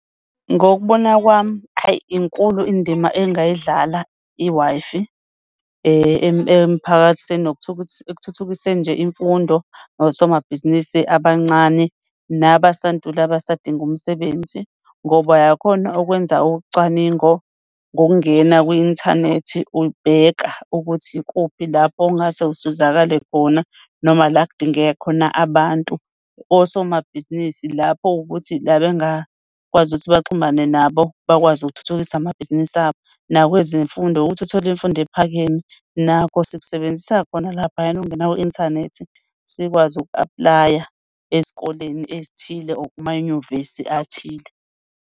Ngokubona kwami hhayi inkulu indima engayidlala i-Wi-Fi emphakathini ekuthuthukiseni nje imfundo, nosomabhizinisi abancane nabantula abasadinga umsebenzi ngoba uyakhona ukwenza ucwaningo ngokungena kwi-inthanethi. Ukubheka ukuthi ikuphi lapho ongase usizakale khona noma la kudingeka khona abantu. Osomabhizinisi lapho ukuthi la bengakwazi ukuthi baxhumane nabo bakwazi ukuthuthukisa amabhizinisi abo nakwezemfundo ukuthi uthole imfundo ephakeme nakho sikusebenzisa khona laphayana. Ukungena kwi-inthanethi sikwazi uku-apply-a ezikoleni ezithile or kumanyuvesi athile.